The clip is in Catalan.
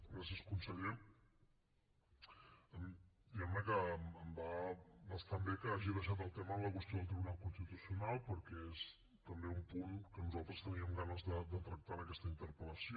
gràcies conseller diguem ne que em va bastant bé que hagi deixat el tema en la qüestió del tribunal constitucional perquè és també un punt que nosaltres teníem ganes de tractar en aquesta interpel·lació